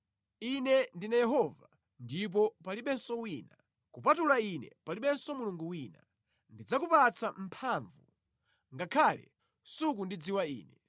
Ine ndine Yehova ndipo palibenso wina; kupatula Ine palibenso Mulungu wina. Ndidzakupatsa mphamvu, ngakhale sukundidziwa Ine,